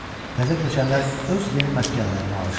Təzə köçənlər öz yeni məskənlərinə alışdılar.